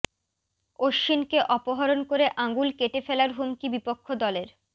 অশ্বিনকে অপহরণ করে আঙুল কেটে ফেলার হুমকি বিপক্ষ দলের